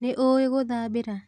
Nĩũĩ ngũthambĩra?